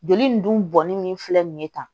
Joli nin dun bɔnni min filɛ nin ye tan